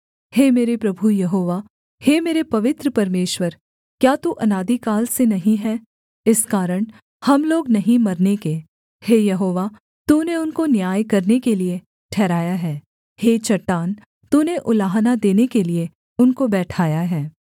हे मेरे प्रभु यहोवा हे मेरे पवित्र परमेश्वर क्या तू अनादिकाल से नहीं है इस कारण हम लोग नहीं मरने के हे यहोवा तूने उनको न्याय करने के लिये ठहराया है हे चट्टान तूने उलाहना देने के लिये उनको बैठाया है